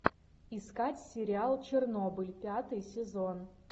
искать сериал чернобыль пятый сезон